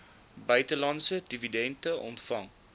buitelandse dividende ontvang